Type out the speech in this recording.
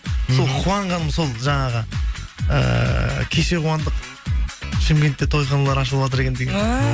сол қуанғаным сол жаңағы ыыы кеше қуандық шымкентте тойханалар ашылыватыр екен деген